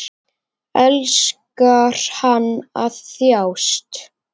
Elskar hann að þjást?